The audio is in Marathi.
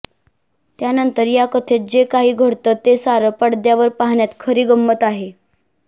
त्यानंतर या कथेत जे काही घडतं ते सारं पडद्यावर पाहण्यात खरी गंमत आहे